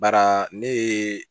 Bara ne ye